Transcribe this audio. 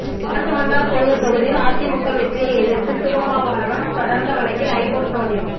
காட்டுமன்னார் கோயில் தொகுதியில் அதிமுக வெற்றியை எதிர்த்து திருமாவளவன் தொடர்ந்த வழக்கில் ஐகோர்ட்டு நோட்டீஸ்